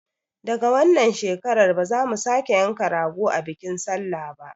Daga wannan shekarar ba za mu sake yanka rago a bikin sallah ba